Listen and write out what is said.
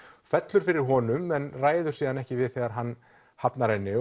fellur fyrir honum en ræður ekki við þegar hann hafnar henni